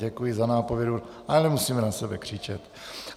Děkuji za nápovědu, ale nemusíme na sebe křičet.